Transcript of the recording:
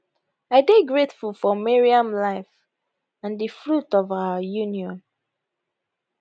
i dey grateful for maryam life and di fruit of our union